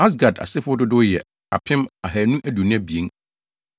Asgad asefo dodow yɛ 2 1,222 1